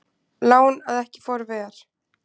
Lán að ekki fór ver